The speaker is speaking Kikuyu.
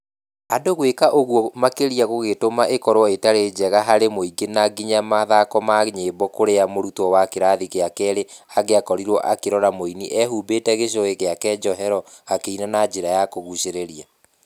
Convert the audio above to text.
Andũ gũĩka ũguo makĩria gũgĩtũma ĩkorwo ĩtarĩ njega harĩ mũingĩ na nginya mathako ma nyĩmbo kũrĩa mũrutwo wa kĩrathi gĩa kerĩ angĩakorirwo akĩrora mũini eehumbĩte gicuhĩ gĩake njohero akĩina na njĩra ya kũgucĩrĩria.